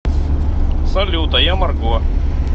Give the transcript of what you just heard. салют а я марго